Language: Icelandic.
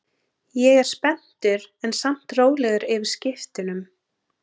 Ég er spenntur en samt rólegur yfir skiptunum.